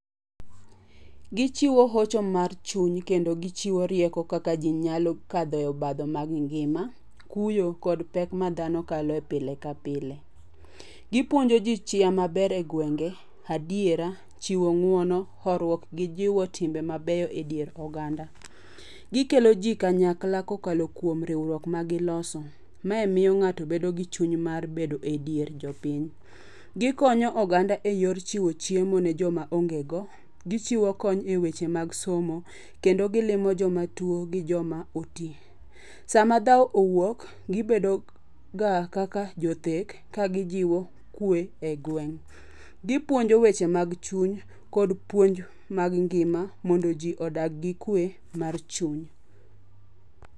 Gichiwo hocho mar chuny kendo gichiwo rieko kaka jii nyalo kadho e obadho mag ngima, kuyo kod pek ma dhano kalo e pile ka pile. Gipuonjo jii chia maber e gwenge ,adiera, chiwo nguono, horuok gi jiwo timbe mabeyo e dier oganda. Gikelo jii kanyakla kokalo kuom rieruok ma giloso mae miyo ngato bedo gi chuny mar bedo e dier jopiny. Gikonyo oganda eyor chiwo chiemo ne joma onge go ,gichiwo kony e weche mag somo kendo gilimo joma tuo gi joma otii. Sama dhao owuok gibedo ga kaka jothek ka gijiwo kwee e gweng. Gipuonjo weche mag chuny kod puonj mag ngima mondo jii odag gi kwee mar chuny